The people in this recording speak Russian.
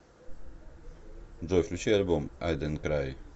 джой включи альбом ай донт край